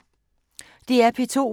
DR P2